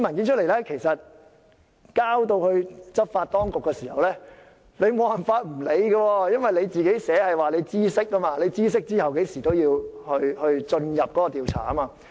如果把這些文件交到執法當局，就無法不理會，因為法例訂明知悉事情後甚麼時間內便要進入調查。